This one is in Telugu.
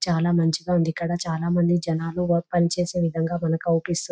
చాలా మంచిగా ఉంది ఇక్కడ చాలామంది జనాలు వర్క్ పనిచేసే విధంగా మనకు ఆగుపిస్తుంది.